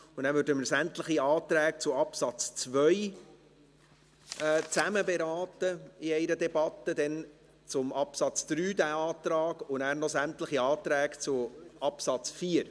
Nachher würden wir sämtliche Anträge zu Absatz 2 zusammen in einer Debatte beraten, dann den Antrag zu Absatz 3 und danach noch sämtliche Anträge zu Absatz 4.